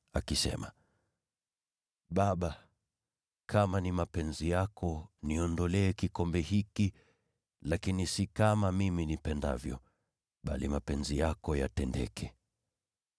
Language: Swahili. akisema, “Baba, kama ni mapenzi yako, niondolee kikombe hiki. Lakini si kama nipendavyo, bali mapenzi yako yatendeke.”